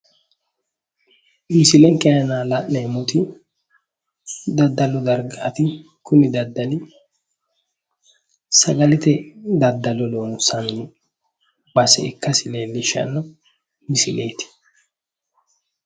Misilenke iima la'neemmoti daddalu dargaati kuni daddalu sagalete daddalo loonsanni base ikkasi leellishanno misileeti